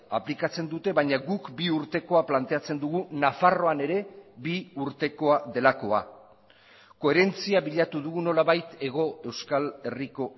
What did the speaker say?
aplikatzen dute baina guk bi urtekoa planteatzen dugu nafarroan ere bi urtekoa delakoa koherentzia bilatu dugu nolabait hego euskal herriko